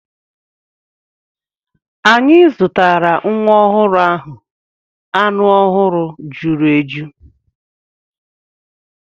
Anyị zụtara nwa ọhụrụ ahụ anụ ọhụrụ juru eju.